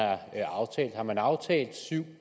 er